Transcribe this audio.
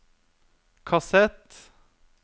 kassett